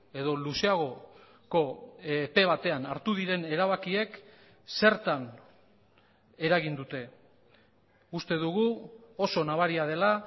edo luzeagoko epe batean hartu diren erabakiek zertan eragin dute uste dugu oso nabaria dela